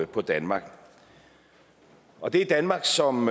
på danmark og det er danmark som